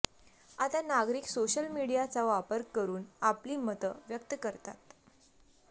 आता नागरिक सोशल मीडियाचा वापर करून आपली मतं व्यक्त करतात